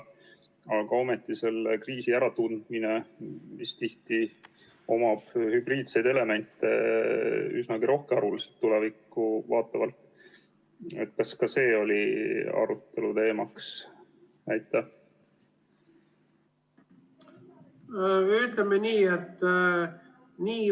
Aga ometi selle kriisi äratundmine, mis tihti omab üsnagi rohkearvuliselt hübriidseid elemente tulevikku vaatavalt, kas ka see oli arutelu teemaks?